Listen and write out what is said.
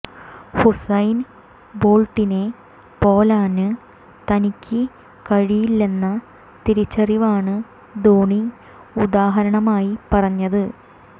ഹുസൈന് ബോള്ട്ടിനെ പോലാന് തനിയ്ക്ക് കഴിയില്ലെന്ന തിരിച്ചറിവാണ് ധോണി ഉദാഹരണമായി പറഞ്ഞത്